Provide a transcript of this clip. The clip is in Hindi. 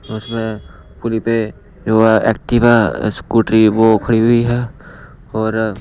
उसमें पुली पे जो एक्टिवा स्कूटरी वो खड़ी हुई हैऔर--